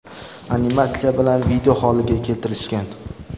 animatsiya bilan video holiga keltirishgan.